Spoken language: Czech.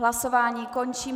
Hlasování končím.